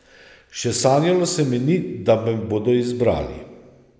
Še sanjalo se mi ni, da me bodo izbrali.